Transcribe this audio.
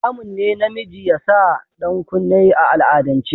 Haramun ne namiji ya sa ɗankunne a al'adance.